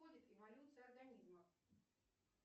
входит эволюция организма